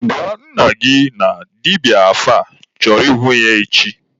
Gwa nna gị na dibịa afa chọrọ ịhụ ya echi!